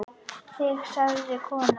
Þig sagði konan.